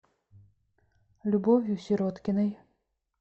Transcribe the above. любовью сироткиной